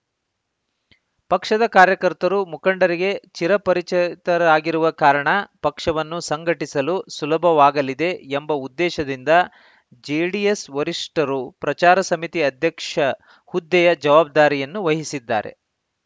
ಪಕ್ಷದ ಕಾರ್ಯಕರ್ತರು ಮುಖಂಡರಿಗೆ ಚಿರಪರಿಚ ಇತರಾಗಿರುವ ಕಾರಣ ಪಕ್ಷವನ್ನು ಸಂಘಟಿಸಲು ಸುಲಭವಾಗಲಿದೆ ಎಂಬ ಉದ್ದೇಶದಿಂದ ಜೆಡಿಎಸ್‌ ವರಿಷ್ಠರು ಪ್ರಚಾರ ಸಮಿತಿ ಅಧ್ಯಕ್ಷ ಹುದ್ದೆಯ ಜವಾಬ್ದಾರಿಯನ್ನು ವಹಿಸಿದ್ದಾರೆ